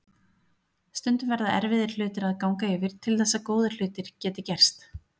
Stundum verða erfiðir hlutir að ganga yfir til þess að góðir hlutir geti gerst.